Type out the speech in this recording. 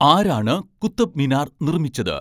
ആരാണ് കുത്തബ്മിനാർ നിർമ്മിച്ചത്